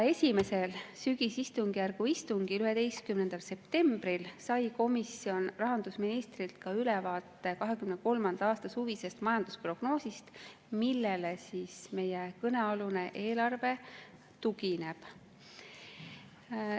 Esimesel sügisistungjärgu istungil 11. septembril sai komisjon rahandusministrilt ülevaate 2023. aasta suvisest majandusprognoosist, millele meie eelarve tugineb.